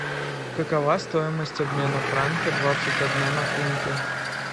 какова стоимость обмена франка двадцать одна на фунты